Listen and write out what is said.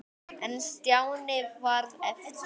En Stjáni varð eftir.